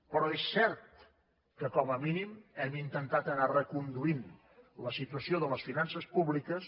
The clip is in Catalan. però és cert que com a mínim hem intentat anar reconduint la situació de les finances públiques